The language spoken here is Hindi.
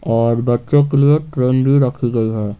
और बच्चों के लिए ट्रैन भि रखी गयी है।